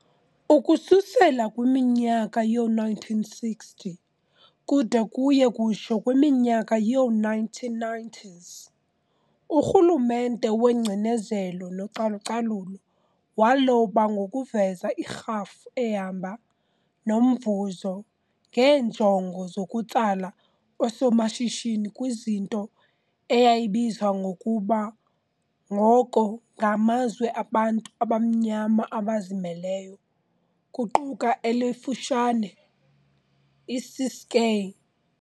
Ukususela kwiminyaka yoo-1960 kude kuye kutsho kwiminyaka yoo-1990s, urhulumente weingcinezelo nocalu-calulo waloba ngokuveza irhafu ehamba nomvuzo ngeenjongo zokutsala oosomashishini kwinto eyayibizwa ngokuba ngoko ng'amazwe abantu abamnyama abazimeleyo', kuquka elikufutshane iCiskei.